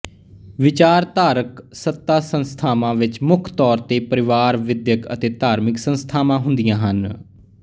ਵਿਚਾਰਧਾਰਕ ਸੱਤਾ ਸੰਸਥਾਵਾਂ ਵਿਚ ਮੁੱਖ ਤੌਰ ਤੇ ਪਰਿਵਾਰ ਵਿੱਦਿਅਕ ਅਤੇ ਧਾਰਮਿਕ ਸੰਸਥਾਵਾਂ ਹੁੰਦੀਆ ਹਨ